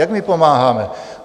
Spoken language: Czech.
Jak my pomáháme?